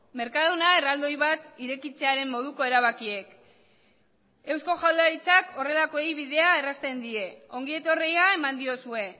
mercadona erraldoi bat irekitzearen moduko erabakiek eusko jaurlaritzak horrelakoei bidea errazten die ongi etorria eman diozue